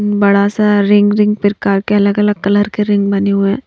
बड़ा सा ring ring प्रकार के अलग-अलग कलर के रिंग बने हुए हैं।